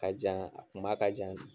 Ka jan a kuma ka jan.